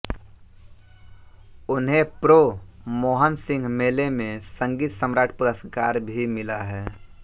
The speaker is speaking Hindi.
उन्हें प्रो मोहन सिंह मेले में संगीत सम्राट पुरस्कार भी मिला है